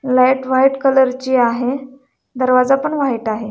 Light white colour ची आहे दरवाजा पण व्हाइट आहे.